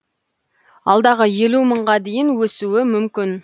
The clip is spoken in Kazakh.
алдағы елу мыңға дейін өсуі мүмкін